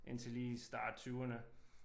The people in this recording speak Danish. Indtil lige i start tyverne